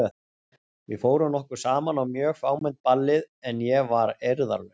Við fórum nokkur saman á mjög fámennt ballið en ég var eirðarlaus.